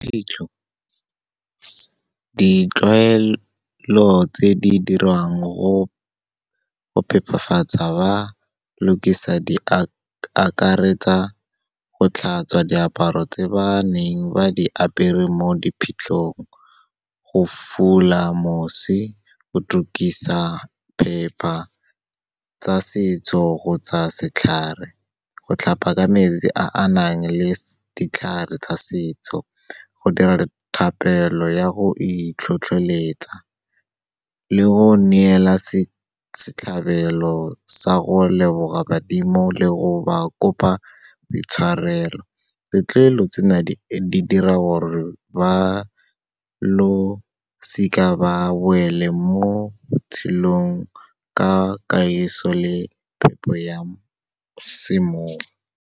Phitlho, ditlwaelo tse di diriwang go phepafatsa ba lukisa di akaretsa, go tlhatswa diaparo tse ba neng ba di apere mo diphitlhong, go fula mosi, go tukisa phepa tsa setso kgotsa setlhare, go tlhapa ka metsi a a nang le ditlhare tsa setso, go dira thapelo ya go itlhotleletsa le go neela setlhabelo sa go leboga badimo le go ba kopa boitshwarelo. Ditlolo tsena di dira gore ba losika ba boele mo botshelong ka kahiso le phepo ya semowa.